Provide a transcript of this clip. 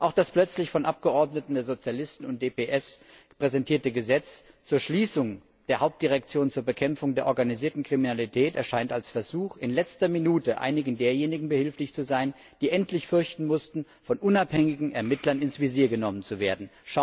Auch das plötzlich von Abgeordneten der Sozialisten und DPS präsentierte Gesetz zur Schließung der Hauptdirektion zur Bekämpfung der organisierten Kriminalität erscheint als Versuch, in letzter Minute einigen derjenigen behilflich zu sein, die endlich fürchten müssten, von unabhängigen Ermittlern ins Visier genommen zu werden.